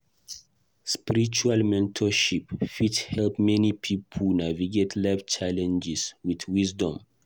Spiritual mentorship fit help many pipo navigate life challenges with wisdom.